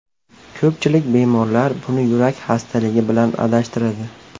Ko‘pchilik bemorlar buni yurak xastaligi bilan adashtiradi.